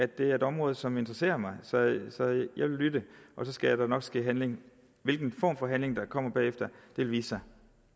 det er et område som interesserer mig så jeg vil lytte og så skal der nok ske handling hvilken form for handling der kommer bagefter vil vise sig